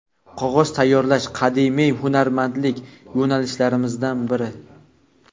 Qog‘oz tayyorlash qadimiy hunarmandlik yo‘nalishlarimizdan biri.